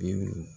Bi